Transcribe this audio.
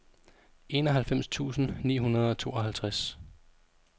enoghalvfems tusind ni hundrede og tooghalvtreds